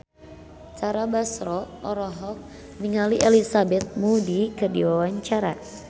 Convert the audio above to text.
Tara Basro olohok ningali Elizabeth Moody keur diwawancara